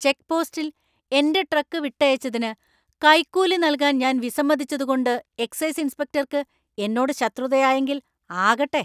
ചെക്ക്പോസ്റ്റിൽ എന്‍റെ ട്രക്ക് വിട്ടയച്ചതിന് കൈക്കൂലി നൽകാൻ ഞാൻ വിസമ്മതിച്ചതുകൊണ്ട് എക്സൈസ് ഇൻസ്പെക്ടർക്ക് എന്നോട് ശത്രുതയായെങ്കില്‍ ആകട്ടെ.